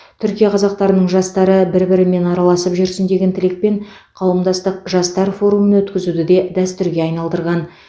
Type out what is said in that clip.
түркия қазақтарының жастары бір бірімен араласып жүрсін деген тілекпен қауымдастық жастар форумын өткізуді де дәстүрге айналдырған